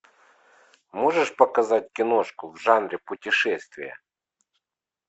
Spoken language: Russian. можешь показать киношку в жанре путешествия